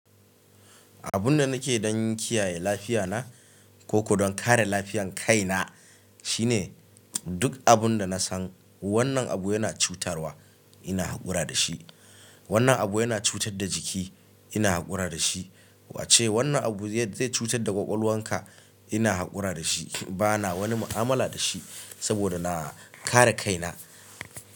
Abun da nake don kiyaye lafiya na koko don kare lafiyan kai na shine duk abun da na san wannan abu yana cutarwa, ina haƙura da shi. Wannan abu yana cutar da jiki, ina haƙura da shi. Wace wannan abu zai cutar da ƙwaƙwalwarka, ina haƙura da shi. Bana wani mu'amala da shi saboda na kare kai na.